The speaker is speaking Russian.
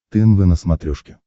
тнв на смотрешке